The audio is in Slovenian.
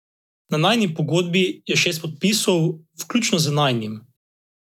Na najini pogodbi je šest podpisov, vključno z najinim.